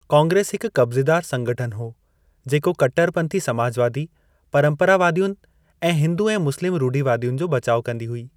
कांग्रेस हिक कब्ज़ेदार संगठन हो, जेको कट्टरपंथी समाजवादी, परंपरावादियुनि ऐं हिंदू ऐं मुस्लिम रूढ़िवादियुनि जो बचाउ कंदी हुई।